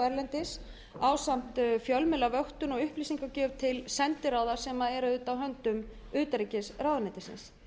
erlendis ásamt fjölmiðlavöktun og upplýsingagjöf til sendiráða sem er auðvitað á höndum utanríkisráðuneytisins